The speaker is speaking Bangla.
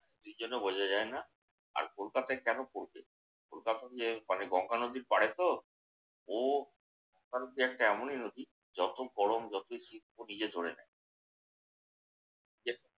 season ও বোঝা যায় না। আর কলকাতায় কেন পড়বে? কলকাতা যে মানে গঙ্গা নদীর পাড়ে তো? ও যে এমনই নদী। যত গরম যত শীত ধরে নেয়।